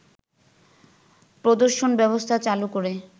প্রদর্শনব্যবস্থা চালু করে